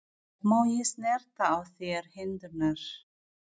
Má ég snerta á þér hendurnar?